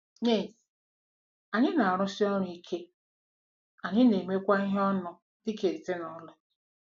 Ynez: Anyị na-arụsi ọrụ ike, anyị na-emekwa ihe ọnụ dị ka ezinụlọ.